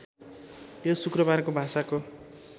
यो शुक्रबारको भाषाको